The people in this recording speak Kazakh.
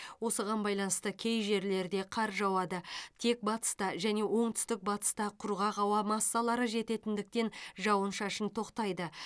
осыған байланысты кей жерлерде қар жауады тек батыста және оңтүстік батыста құрғақ ауа массалары жететіндіктен жауын шашын тоқтайды